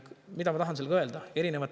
Mida ma tahan sellega öelda?